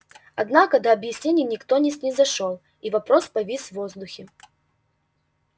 однако до объяснений никто не снизошёл и вопрос повис в воздухе